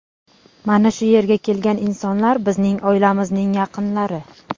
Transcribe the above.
Mana shu yerga kelgan insonlar, bizning oilamizning yaqinlari.